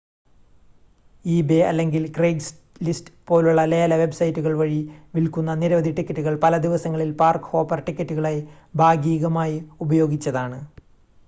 eBay അല്ലെങ്കിൽ Craigslist പോലുള്ള ലേല വെബ്സൈറ്റുകൾ വഴി വിൽക്കുന്ന നിരവധി ടിക്കറ്റുകൾ പല ദിവസങ്ങളിൽ പാർക്-ഹോപ്പർ ടിക്കറ്റുകളായി ഭാഗീകമായി ഉപയോഗിച്ചതാണ്